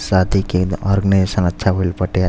शादी के आर्जेनेजेसन अच्छा भइल बाटे। आज --